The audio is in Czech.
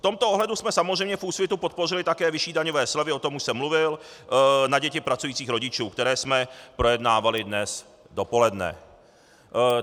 V tomto ohledu jsme samozřejmě v Úsvitu podpořili také vyšší daňové slevy, o tom již jsem mluvil, na děti pracujících rodičů, které jsme projednávali dnes dopoledne.